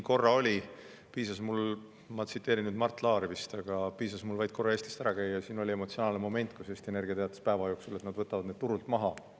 Ma tsiteerin nüüd vist Mart Laari, aga piisas mul vaid korra Eestist ära käia, kui siin tekkis emotsionaalne moment: Eesti Energia teatas mingil päeval, et nad võtavad need turult maha.